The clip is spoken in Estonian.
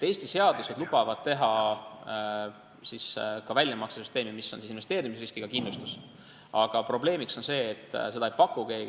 Eesti seadused lubavad teha ka sellise väljamaksesüsteemi, mis on investeerimisriskiga kindlustus, aga probleemiks on see, et seda ei paku keegi.